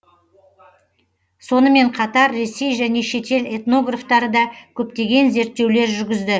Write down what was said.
сонымен қатар ресей және шетел этнографтары да көптеген зерттеулер жүргізді